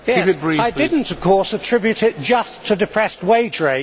I did not of course attribute it just to depressed wage rates.